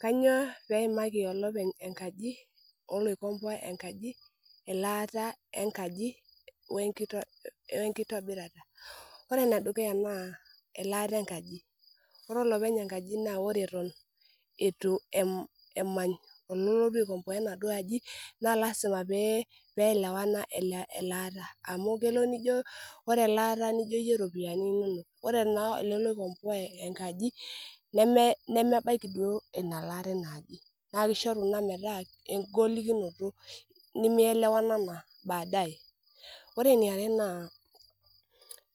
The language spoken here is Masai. Kanyio peimaki olopeny enkaji oloikomboa enkaji elaata enkaji we enkitobirata? Ore enedukuya naa elaata enkaji ore olopeny enkaji naa ore eton eitu emany ololotu aikomboa enaduo aji naa lasima peelewana elaata amu kelo nijo ore elaata nijo iyie iropiani inonok Ore naa ele loikomboa enkaji nemebaiki duo ina laare ena aji naa kishoru ina metaa enkoliminoto nimielewanana baade Ore eniare naa